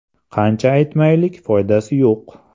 – Qancha aytmaylik foydasi yo‘q.